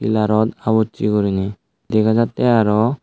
pilarot abuche gurine dega jattey aro.